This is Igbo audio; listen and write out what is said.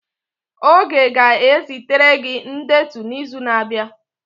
Oge ga-ezitere gị ndetu n'izu na-abịa